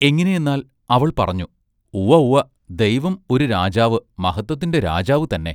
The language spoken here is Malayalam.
എങ്ങിനെയെന്നാൽ അവൾ പറഞ്ഞു ഉവ്വ ഉവ്വ ദൈവം ഒരു രാജാവ് മഹത്വത്തിന്റെ രാജാവു തന്നെ".